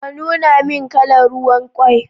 Ka nuna min kalan ruwan kwai